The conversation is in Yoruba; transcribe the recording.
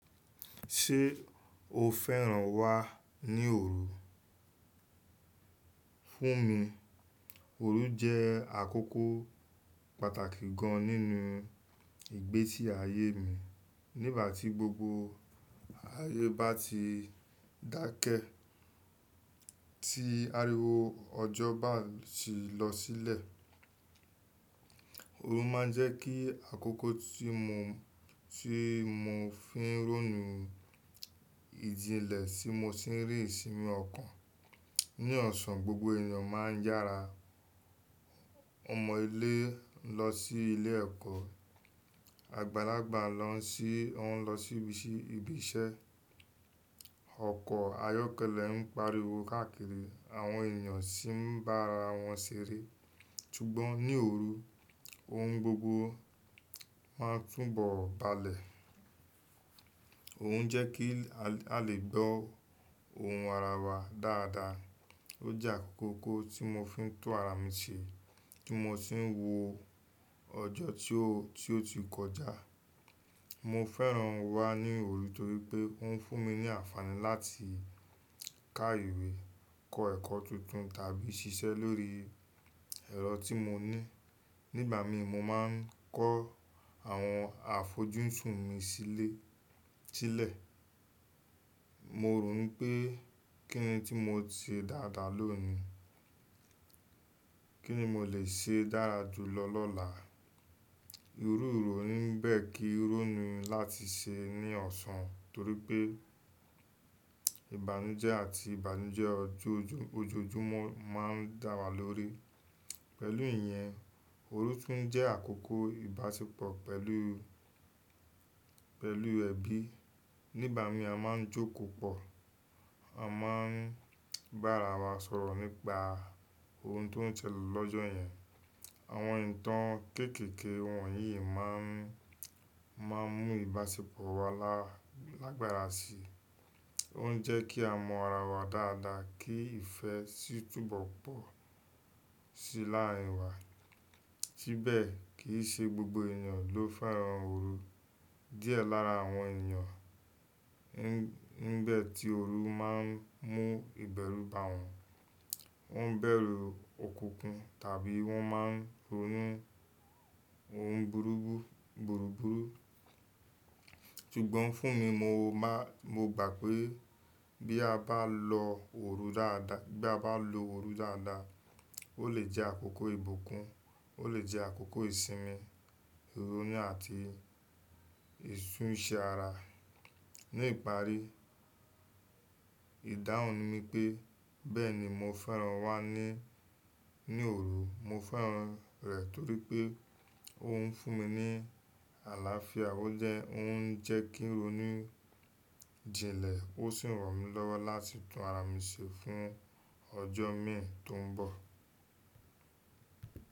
Ṣé o fẹ́ràn wá ní òru? Fún mi, òru jẹ́ àkókò pàtàkì gan nínú ìgbésí ayé mi. Nígbà tí gbogbo ayé bá ti dákẹ́, tí ariwo ọjọ́ bá ti lọ sílẹ̀, òru máa ń jẹ́ kí àkókò tí mo, tí mo fi ń rónú ìjìnlẹ̀ tí mo sì ń rì isínmi ọ̀kan. Ní ọ̀sán, gbogbo ènìyàn máa ń yára. Ọmọ ilé ń lọ sí ilé ẹ̀kọ́, àgbàlagbà lọ ń sí, wọn lọ síbi iṣẹ́, ọkọ̀ ayọ́kẹ́lẹ́ ń pariwo káàkiri, àwọn ènìyàn sì ń bá ara wọn ṣeré. Ṣùgbọ́n ní òru, ohun gbogbo máa ń túbọ̀ balẹ̀. K'òun jẹ́ kí a lè gbọ́ ohùn ara wa dáadáa. Ó jẹ́ àkókò tí mo fi ń tún ara mi ṣe, tí mo sì ń wo ọjọ́ tí ó, tí ó ti kọjá. Mo fẹ́ràn wá ní òru torí pé ó ń fún mi ní àǹfààní láti ká ìwé, kọ́ ẹ̀kọ́ tuntun tàbí ṣiṣẹ́ lórí ẹ̀rọ tí mo ní. Nígbà mi mo máa ń kọ́ àwọn àfojúsùn mi sílẹ̀, sílẹ̀. Mo rò pé kíni tí mo ṣe dáadáa lóòni, kíni mo lè ṣe dára jùlọ lọ́la. Irú ìrọ̀rí bẹ́ kí rọ̀rùn láti ṣe ní ọ̀sán torí pé ìbànújẹ́ àti ìbànújẹ́ ojojúmọ́ máa ń dá wa lórí. Pẹ̀lú ìyẹn, òru tún jẹ́ àkókò ìbáṣepọ̀ pẹ̀lú, pẹ̀lú ẹbí. Nígbà mi a máa ń jókòó pọ̀, a máa ń bá ara wa sọ̀rọ̀ nípa ohun tó ń ṣẹlẹ̀ lọ́jọ́ yẹn. Àwọn ìtàn kéékèèké wọ̀nyí máa ń, máa ń mú ìbáṣepọ̀ wa lágbára sí i. Ó ń jẹ́ kí a mọ ara wa dáadáa kí ìfẹ́ sì tún bọ̀ pọ̀ sí láàrin wa. Síbẹ̀ kii ṣé gbogbo ènìyàn ló fẹ́ràn òru. Díẹ̀ lára àwọn ènìyàn, nígbà tí òru máa ń mú ìbẹ̀rú bá wọn, wọ́n ń bẹ̀rù òkùnkùn tàbí wọ́n máa ń ronú ohun búrubú, búrubúru. Sùgbọ́n fún mi mo máa, mo gbà pé bí a bá lo òru dáadáa, bí a bá lo òru dáadáa, ó lè jẹ́ àkókò ìbùkún, ó lè jẹ́ àkókò ìsinmi, ìrónú àti ìtúnṣe ara. Ni ìparí, ìdáhùn ni pé bẹ́ẹ̀ni mo fẹ́ràn wá ní, ní òru. Mo fẹ́ràn rẹ̀ torí pé ó ń fún mi ní àlàáfíà, ó jẹ́, ó ń jẹ́ kí rónú ìjìnlẹ̀, ó sì ń ràn mí lọ́wọ́ láti tún ara mi ṣe fún ọjọ́ mìíràn tó ń bọ̀.